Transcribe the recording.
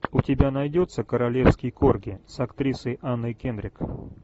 у тебя найдется королевский корги с актрисой анной кендрик